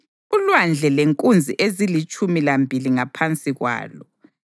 uLwandle lenkunzi ezilitshumi lambili ngaphansi kwalo;